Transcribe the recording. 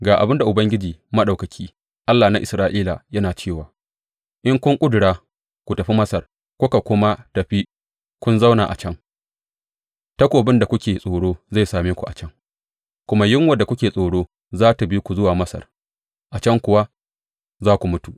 Ga abin da Ubangiji Maɗaukaki, Allah na Isra’ila, yana cewa, In kun ƙudura ku tafi Masar kuka kuma tafi kun zauna a can, takobin da kuke tsoro zai same ku a can, kuma yunwar da kuke tsoro za tă bi ku zuwa Masar, a can kuwa za ku mutu.